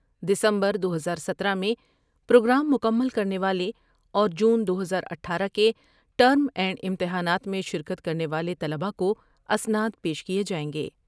دسمبر دو ہزار ستارہ میں پروگرام مکمل کر نے والے اور جون دو ہزار اٹھارہ کے ٹرم اینڈ امتحانات میں شرکت کر نے والے طلبا کو اسناد پیش کیے جائیں گے ۔